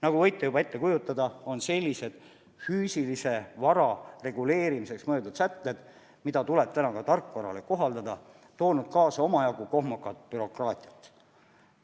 Nagu võite juba ette kujutada, on sellised füüsilise vara reguleerimiseks mõeldud sätted, mida tuleb praegu ka tarkvarale kohaldada, toonud kaasa omajagu kohmakat bürokraatiat.